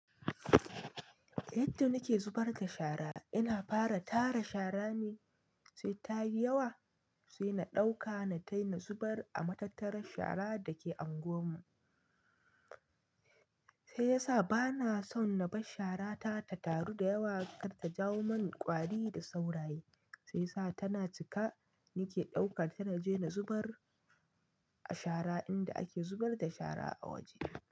Yadda nike zubar da shara ina fara tara shara ne sai tayi yawa sai na ɗauka na tai na zubar a matattarar shara dake anguwar mu. Shiyasa bana son na bar shara ta ta taru da yawa kar ta jawo mani ƙwari da sauraye. Shi yasa tana cika nike ɗaukar ta na je na zubar a shara inda ake zubar da shara a waje.